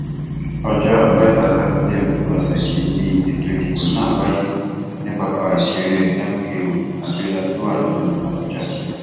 ọjọ àbámẹta sátidé òpin ọsẹ yìí ni ètò ìdìbò náà wáyé ní pápá ìṣeré mko abiola tó wà nílùú àbújá